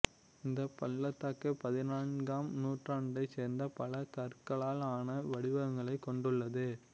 இந்தப் பள்ளத்தாக்கு பதினான்காம் நூற்றண்டைச் சேர்ந்த பல கற்களால் ஆனா வடிவங்களைக் கொண்டுள்ளது